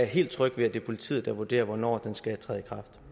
helt tryg ved at det er politiet der vurderer hvornår den skal træde